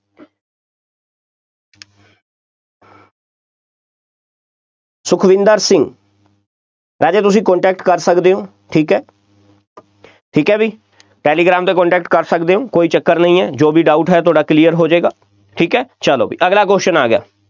ਸੁਖਵਿੰਦਰ ਸਿੰਘ, ਰਾਜੇ, ਤੁਸੀਂ contact ਕਰ ਸਕਦੇ ਹੋ, ਠੀਕ ਹੈ ਠੀਕ ਹੈ ਬਈ, ਟੈਲੀਗ੍ਰਾਮ 'ਤੇ contact ਕਰ ਸਕਦੇ ਹੋ, ਕੋਈ ਚੱਕਰ ਨਹੀਂ ਹੈ, ਜੋ ਵੀ doubt ਹੈ ਤੁਹਾਡਾ clear ਹੋ ਜਾਏਗਾ, ਠੀਕ ਹੈ, ਚੱਲੋ ਬਈ ਅਗਲਾ question ਆ ਗਿਆ,